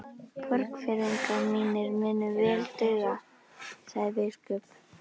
Borgfirðingar mínir munu vel duga, sagði biskup.